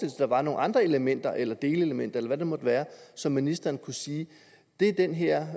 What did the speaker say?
at der var nogle andre elementer eller delelementer eller hvad det måtte være så ministeren kunne sige det er den her